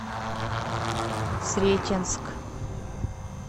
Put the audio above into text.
сретенск